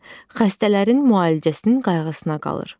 Xəstələrin müalicəsinin qayğısına qalır.